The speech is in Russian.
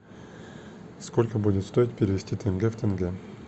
сколько будет стоить перевести тенге в тенге